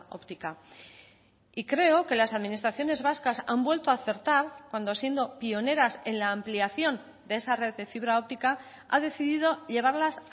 óptica y creo que las administraciones vascas han vuelto a acertar cuando siendo pioneras en la ampliación de esa red de fibra óptica ha decidido llevarlas